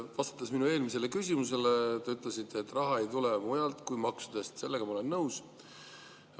Vastates minu eelmisele küsimusele, te ütlesite, et raha ei tule mujalt kui maksudest, sellega ma olen nõus.